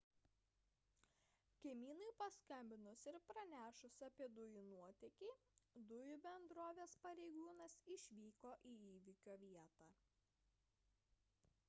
kaimynui paskambinus ir pranešus apie dujų nuotėkį dujų bendrovės pareigūnas išvyko į įvyko vietą